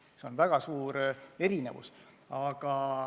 See on väga suur erinevus.